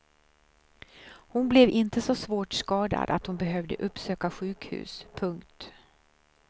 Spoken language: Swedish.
Hon blev inte så svårt skadad att hon behövde uppsöka sjukhus. punkt